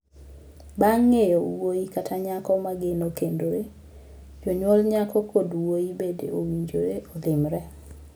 Bang' ng'eyo wuoyi kata nyako ma geno kendore, jonyuol nyako kod wuoyi bende owinjore olimre.